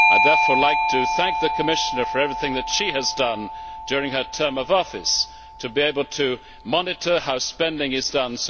I would like to thank the Commissioner for everything that she has done during her term of office with regard to being able to monitor how spending is done.